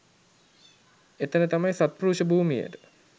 එතන තමයි සත්පුරුෂ භූමියට